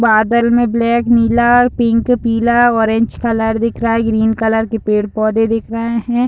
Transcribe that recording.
बादल में ब्लैक नीला पिंक पीला ऑरेंज कलर दिख रहा है। ग्रीन कलर के पेड़-पौधे दिख रहे हैं।